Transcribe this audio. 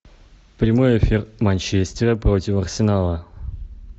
прямой эфир манчестера против арсенала